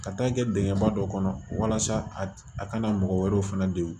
Ka taa kɛ dingɛnba dɔ kɔnɔ walasa a kana mɔgɔ wɛrɛw fana degun